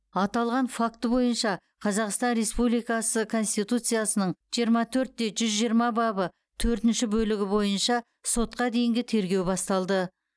аталған факті бойынша қазақстан республикасы конституциясының жиырма төртте жүз жиырма бабы төртінші бөлігі бойынша сотқа дейінгі тергеу басталды